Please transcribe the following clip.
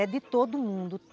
É de todo mundo.